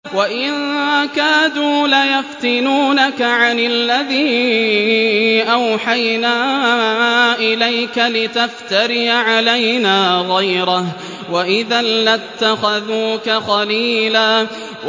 وَإِن كَادُوا لَيَفْتِنُونَكَ عَنِ الَّذِي أَوْحَيْنَا إِلَيْكَ لِتَفْتَرِيَ عَلَيْنَا غَيْرَهُ ۖ وَإِذًا لَّاتَّخَذُوكَ خَلِيلًا